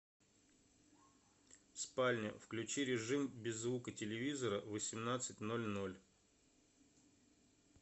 спальня включи режим без звука телевизора в восемнадцать ноль ноль